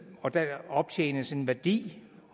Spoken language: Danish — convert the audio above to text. og der optjenes en værdi